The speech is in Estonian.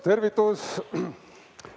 Tervitus!